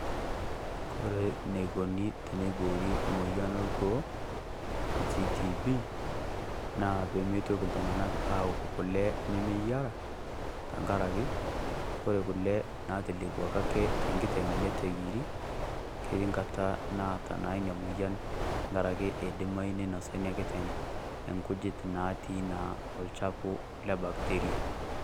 Kore neikuni teneiboori moyia olgoo naji TB, naa pemeitoki iltung'ana aok kule nemeyiera, tenkarake, ore kule ake naatelepuoki ake tenkiteng' neitu eyierri, keti nkata naata naa ina tenkarake eidimayu neinosa ina kiteng enkujit natii naa olchafu le bacteria